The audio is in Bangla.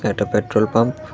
একটা পেট্রল পাম্প --